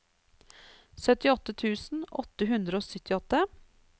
syttiåtte tusen åtte hundre og syttiåtte